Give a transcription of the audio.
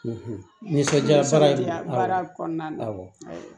Nisɔndiya ye baara kɔnɔna na awɔ